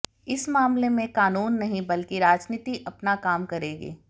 इस मामले में कानून नहीं बल्कि राजनीति अपना काम करेगी